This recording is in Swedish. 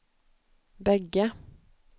bägge